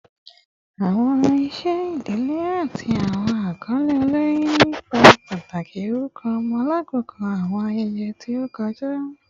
Awọn iṣẹ idile ati awọn akọle olori ni ipa pataki orukọ ọmọ lakoko awọn ayẹyẹ ti o kọja